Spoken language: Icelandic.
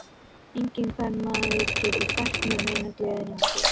Enginn kvenmaður getur fært mér neina gleði nema þú.